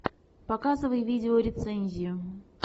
показывай видеорецензию